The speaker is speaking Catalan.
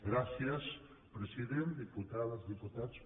gràcies president diputades diputats conseller